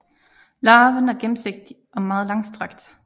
Larven er gennemsigtig og meget langstrakt